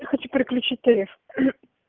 я хочу переключить тариф